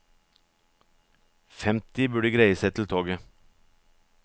Femti burde greie seg til toget.